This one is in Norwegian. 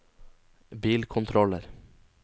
bilkontroller